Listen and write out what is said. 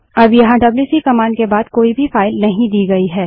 अब यहाँ WC command के बाद कोई भी फाइल नहीं दी गयी है